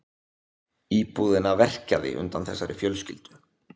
Íbúðina verkjaði undan þessari fjölskyldu.